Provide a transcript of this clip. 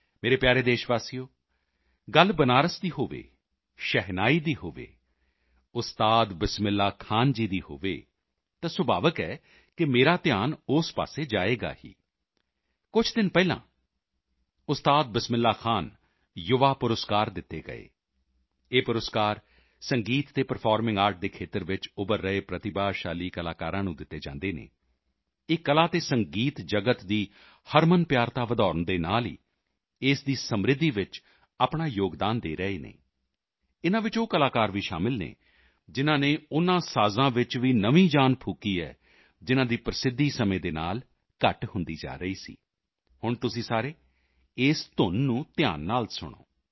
ਮੇਰੇ ਪਿਆਰੇ ਦੇਸ਼ਵਾਸੀਓ ਗੱਲ ਬਨਾਰਸ ਦੀ ਹੋਵੇ ਸ਼ਹਿਨਾਈ ਦੀ ਹੋਵੇ ਉਸਤਾਦ ਬਿਸਮਿਲ੍ਹਾ ਖਾਂ ਜੀ ਦੀ ਹੋਵੇ ਤਾਂ ਸੁਭਾਵਿਕ ਹੈ ਕਿ ਮੇਰਾ ਧਿਆਨ ਉਸ ਪਾਸੇ ਜਾਏਗਾ ਹੀ ਕੁਝ ਦਿਨ ਪਹਿਲਾਂ ਉਸਤਾਦ ਬਿਸਮਿਲ੍ਹਾ ਖਾਂ ਯੁਵਾ ਪੁਰਸਕਾਰ ਦਿੱਤੇ ਗਏ ਇਹ ਪੁਰਸਕਾਰ ਸੰਗੀਤ ਅਤੇ ਪਰਫਾਰਮਿੰਗ ਆਰਟ ਦੇ ਖੇਤਰ ਵਿੱਚ ਉੱਭਰ ਰਹੇ ਪ੍ਰਤਿਭਾਸ਼ਾਲੀ ਕਲਾਕਾਲਾਂ ਨੂੰ ਦਿੱਤੇ ਜਾਂਦੇ ਹਨ ਇਹ ਕਲਾ ਅਤੇ ਸੰਗੀਤ ਜਗਤ ਦੀ ਹਰਮਨਪਿਆਰਤਾ ਵਧਾਉਣ ਦੇ ਨਾਲ ਹੀ ਇਸ ਦੀ ਸਮਿ੍ਰਧੀ ਵਿੱਚ ਆਪਣਾ ਯੋਗਦਾਨ ਦੇ ਰਹੇ ਹਨ ਇਨ੍ਹਾਂ ਵਿੱਚ ਉਹ ਕਲਾਕਾਰ ਵੀ ਸ਼ਾਮਲ ਹਨ ਜਿਨ੍ਹਾਂ ਨੇ ਉਨ੍ਹਾਂ ਸਾਜ਼ਾਂ ਵਿੱਚ ਵੀ ਨਵੀਂ ਜਾਨ ਫੂਕੀ ਹੈ ਜਿਨ੍ਹਾਂ ਦੀ ਪ੍ਰਸਿੱਧੀ ਸਮੇਂ ਦੇ ਨਾਲ ਘੱਟ ਹੁੰਦੀ ਜਾ ਰਹੀ ਸੀ ਹੁਣ ਤੁਸੀਂ ਸਾਰੇ ਇਸ ਧੁੰਨ ਨੂੰ ਧਿਆਨ ਨਾਲ ਸੁਣੋ